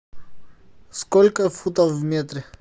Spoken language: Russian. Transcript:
сколько футов в метре